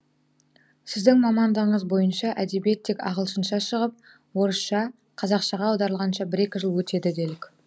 сіздің мамандығыңыз бойынша әдебиет тек ағылшынша шығып орысша қазақшаға аударылғанша бір екі жыл өтеді делік